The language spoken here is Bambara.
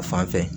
Fan fɛ